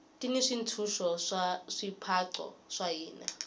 ti ni swintshuxo swa swipaqo swa hina